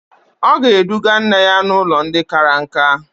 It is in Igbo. Ọ ga-eduga nne ya n'ụlọ ndị kara nka.